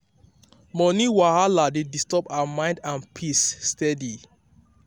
money wahala dey disturb her mind and peace steady.